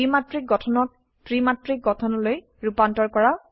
দ্বিমাত্ৰিক গঠনক ত্ৰিমাত্ৰিক গঠনলৈ ৰুপান্তৰ কৰা